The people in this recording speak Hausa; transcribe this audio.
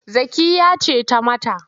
Zakkiyya ce ta yi mata.